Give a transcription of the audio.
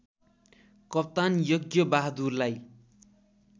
कप्तान यज्ञबहादुरलाई